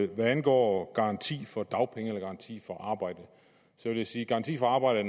hvad angår garanti for dagpenge eller garanti for arbejde vil jeg sige at garanti for arbejde